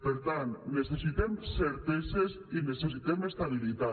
per tant necessitem certeses i necessitem estabilitat